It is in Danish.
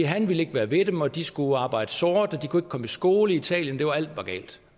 han ville ikke være ved dem og de skulle arbejde sort og de kunne ikke komme i skole i italien og alt var galt